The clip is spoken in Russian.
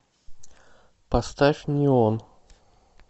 поставь неон